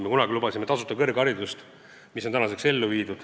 Me lubasime kunagi tasuta kõrgharidust, mis on tänaseks ellu viidud.